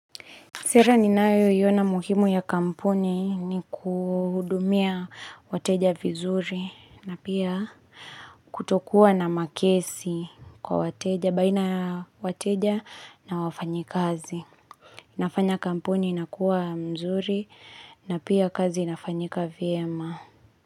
Sera ninayoiona muhimu ya kampuni ni kuhudumia wateja vizuri na pia kutokuwa na makesi kwa wateja, baina ya wateja na wafanyikazi. Inafanya kampuni inakuwa nzuri na pia kazi inafanyika vyema.